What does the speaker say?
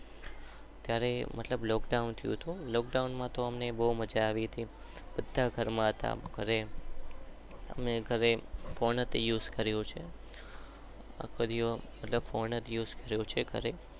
ત્યારે મતલબ લોક્ડોવાન થયું હતું. બૌ મજા આવી હતી.